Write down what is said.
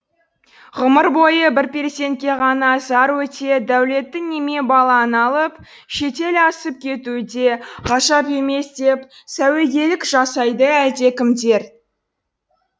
ғұмыр бойы бір перзентке ғана зар өте дәулетті неме баланы алып шетел асып кетуі де ғажап емес деп сәуегейлік жасайды әлдекімдер